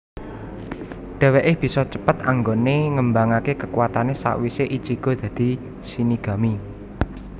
Dheweke bisa cepet anggone ngembangake kekuwatane sawise Ichigo dadi shinigami